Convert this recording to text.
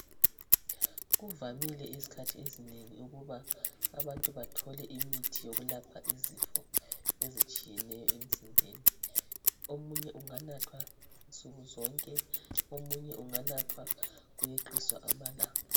Kuvamile izikhathi ezinengi ukuba abantu bathole imithi yokulapha izifo ezitshiyeneyo emzimbeni omunye unganathwa nsukuzonke omunye unganathwa kuyeqiswa amalanga.